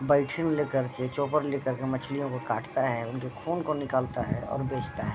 करके चॉपर मछलियों को कटता है और उनके खून को निकलता है और बेचता है।